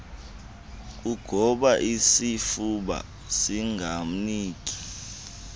kugoba isifuba singamniki